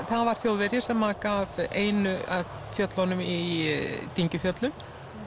það var Þjóðverji sem gaf einu af fjöllunum í